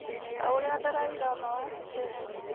ta ũrĩa Dalai Lama wa Tibet